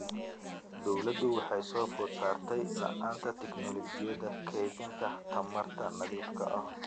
Dawladdu waxay soo food saartay la'aanta tignoolajiyada kaydinta tamarta nadiifka ah.